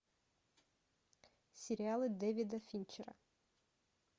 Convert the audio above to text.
сериалы дэвида финчера